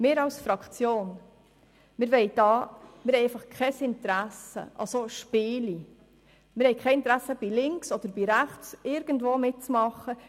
Wir als Fraktion haben einfach kein Interesse an solchen Spielen und wollen nicht bei links oder rechts irgendwo mitmachen.